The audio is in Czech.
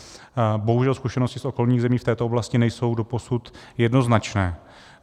Bohužel zkušenosti z okolních zemí v této oblasti nejsou doposud jednoznačné.